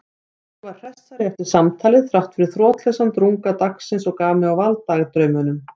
Ég var hressari eftir samtalið þráttfyrir þrotlausan drunga dagsins og gaf mig á vald dagdraumum.